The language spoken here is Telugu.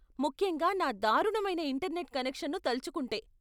ముఖ్యంగా నా దారుణమైన ఇంటర్నెట్ కనెక్షన్ను తలుచుకుంటే.